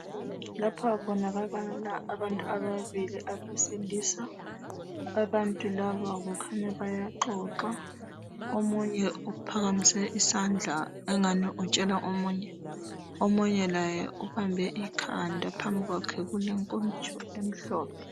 Lapha kubonakala abantu ababi abesilisa abantu laba kukhanya bayaxoxa omunye uphakamise isandla engathi utshela omunye omunye laye ubambe ikhanda phambi kwakhe kulenkomitsho emhlophe